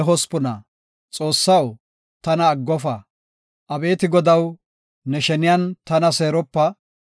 Abeeti Godaw, ne sheniyan tana seeropa; ne yiluwan tana hanqofa.